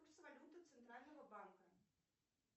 курс валюты центрального банка